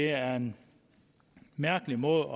er en mærkelig måde